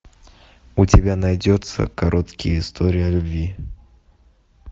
у тебя найдется короткие истории о любви